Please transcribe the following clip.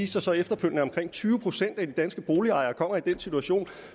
sig så efterfølgende at omkring tyve procent af de danske boligejere kommer i den situation